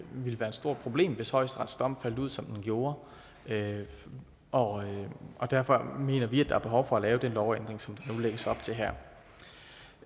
ville være stort problem hvis højesteretsdommen faldt ud som den gjorde og derfor mener vi at der er behov for at lave den lovændring som der nu lægges op til her